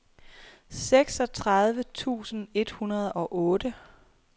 seksogtredive tusind et hundrede og otte